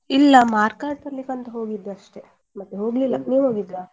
ಇಲ್ಲ mark card ತರ್ಲಿಕ್ಕೆ ಅಂತ ಹೋಗಿದ್ದೆ ಅಷ್ಟೇ ಮತ್ತೆ ಹೋಗ್ಲಿಲ್ಲ ನೀವ್ ಹೋಗಿದ್ರಾ.